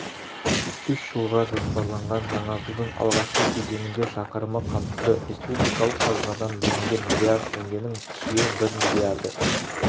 үш жылға жоспарланған жаңартудың алғашқы кезеңінде шақырымы қамтылды республикалық қазнадан бөлінген млрд теңгенің биыл бір миллиарды